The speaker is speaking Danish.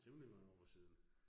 Temmelig mange år siden